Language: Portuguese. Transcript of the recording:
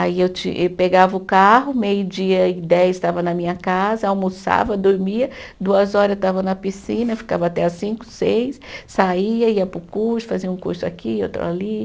Aí eu te, e pegava o carro, meio-dia e dez estava na minha casa, almoçava, dormia, duas horas eu estava na piscina, ficava até às cinco, seis, saía, ia para o curso, fazia um curso aqui, outro ali.